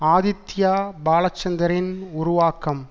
ஆதித்யா பாலசந்தரின் உருவாக்கம்